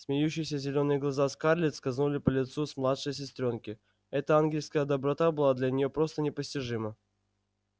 смеющиеся зелёные глаза скарлетт скользнули по лицу младшей сестрёнки эта ангельская доброта была для неё просто непостижима